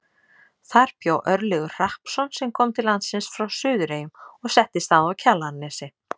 Þar bjó Örlygur Hrappsson sem kom til landsins frá Suðureyjum og settist að á Kjalarnesi.